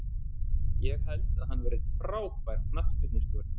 Ég held að hann verði frábær knattspyrnustjóri.